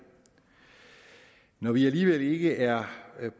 når vi alligevel ikke er